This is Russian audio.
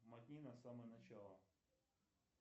мотни на самое начало